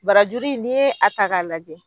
Barajuru in n'i ye a ta k'a lajɛ